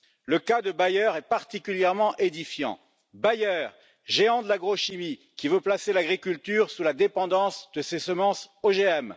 Le cas de Bayer est particulièrement édifiant Bayer, géant de l'agrochimie qui veut placer l'agriculture sous la dépendance de ses semences OGM.